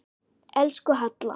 Elsku Halla.